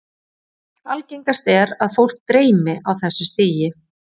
Algengast er að fólk dreymi á þessu stigi.